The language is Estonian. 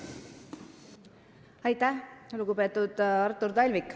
Aitäh, lugupeetud Artur Talvik!